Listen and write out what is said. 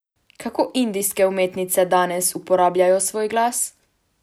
Kako indijske umetnice danes uporabljajo svoj glas?